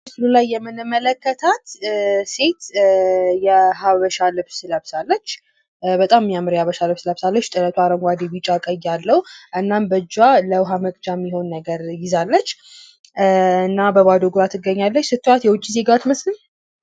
ምስል ላይ የምንመለከታት ሴት የሃበሻ ልብስ ለብሳለች። በጣም የሚያምር የሃበሻ ልብስ ለብሳለች ጥለቱ አረንጓዴ፣ ቢጫ ፣ቀይ ያለው። እናም በእጃ ለውሀ መቅጀነት የሚሆን ነገር ይዛለች። እና በባዶ እግሯ ትገኛለች። ስታይዋት የውጭ ዜጋ አትመስልም?